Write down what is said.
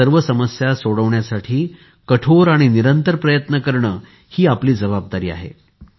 या सर्व समस्या सोडविण्यासाठी कठोर आणि निरंतर प्रयत्न करणे हि आपली जबाबदारी आहे